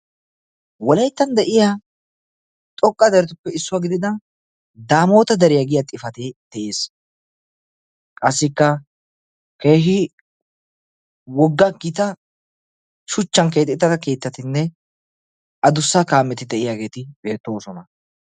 wolaytta de'iyaa xoqqa deretupe issuwaa gidida Daamota deriya giyaa xifaate de'ees. qassikka wogga gita shuchchan keexettida keettatinne addussa kaameti de'iyaageeti beettoosona.